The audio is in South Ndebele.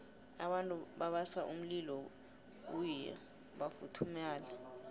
abantu babasa umlilo kuyhi bafuthumale